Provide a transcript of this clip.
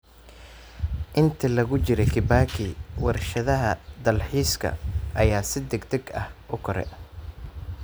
Intii lagu jiray Kibaki, warshadaha dalxiiska ayaa si degdeg ah u koray.